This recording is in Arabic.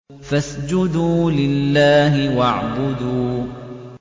فَاسْجُدُوا لِلَّهِ وَاعْبُدُوا ۩